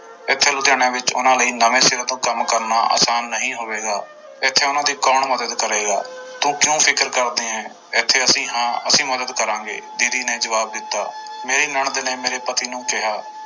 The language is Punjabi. ਇੱਥੇ ਲੁਧਿਆਣੇ ਵਿੱਚ ਉਹਨਾਂ ਲਈ ਨਵੇਂ ਸਿਰੇ ਤੋਂ ਕੰਮ ਕਰਨਾ ਆਸਾਨ ਨਹੀਂ ਹੋਵੇਗਾ, ਇੱਥੇ ਉਹਨਾਂ ਦੀ ਕੌਣ ਮਦਦ ਕਰੇਗਾ, ਤੂੰ ਕਿਉਂ ਫਿਕਰ ਕਰਦੀ ਹੈ ਇੱਥੇ ਅਸੀਂ ਹਾਂ, ਅਸੀਂ ਮਦਦ ਕਰਾਂਗੇ ਦੀਦੀ ਨੇ ਜਵਾਬ ਦਿੱਤਾ ਮੇਰੀ ਨਣਦ ਨੇ ਮੇਰੇ ਪਤੀ ਨੂੰ ਕਿਹਾ